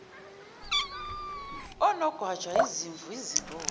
onogwaja izimvu izimbuzi